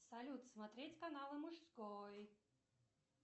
салют смотреть канал мужской